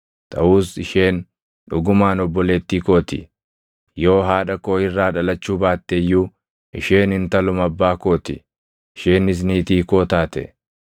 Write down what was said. Taʼus isheen dhugumaan obboleettii koo ti; yoo haadha koo irraa dhalachuu baatte iyyuu isheen intaluma abbaa koo ti; isheenis niitii koo taate.